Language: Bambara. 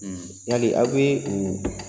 Yali a be u